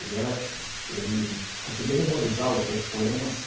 Ele era, ele conseguia memorizar os seus poemas